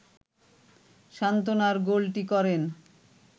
সান্ত্বনার গোলটি করেন